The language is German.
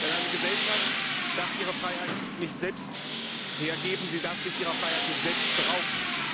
Denn eine Gesellschaft darf ihre Freiheit nicht selbst hergeben, sie darf sich ihrer Freiheit nicht selbst berauben.